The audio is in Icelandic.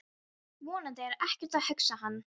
Vonandi er ekkert að, hugsaði hann.